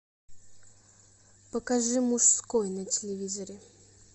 покажи мужской на телевизоре